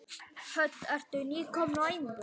Hödd: Ertu nýkominn á æfingu?